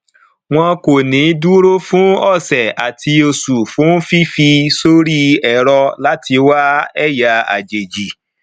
wọn kò ní dúró fún ọsẹ àti oṣù fún fífi sórí ẹrọ láti wá ẹyà àjèjì